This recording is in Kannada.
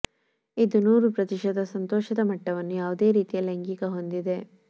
ಇದು ನೂರು ಪ್ರತಿಶತ ಸಂತೋಷದ ಮಟ್ಟವನ್ನು ಯಾವುದೇ ರೀತಿಯ ಲೈಂಗಿಕ ಹೊಂದಿದೆ